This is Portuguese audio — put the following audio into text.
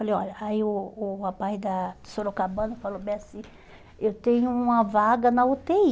falei olha Aí o o rapaz da do Sorocabana falou bem assim, eu tenho uma vaga na u tê i.